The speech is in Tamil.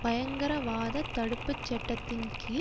பயங்கரவாததடுப்புச் சட்டத்தின் கீழ்